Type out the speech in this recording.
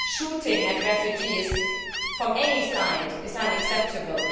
Shooting at refugees from any side is unacceptable.